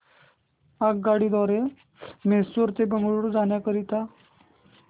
आगगाडी द्वारे मैसूर ते बंगळुरू जाण्या करीता